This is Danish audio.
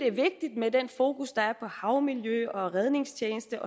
er vigtigt med den fokus der er på havmiljø og redningstjeneste